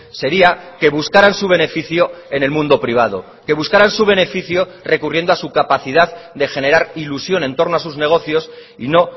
sería que buscaran su beneficio en el mundo privado que buscaran su beneficio recurriendo a su capacidad de generar ilusión en torno a sus negocios y no